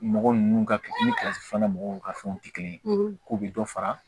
Mɔgɔ ninnu ka kilasi filanan mɔgɔw ka fɛnw tɛ kelen ye k'u bɛ dɔ fara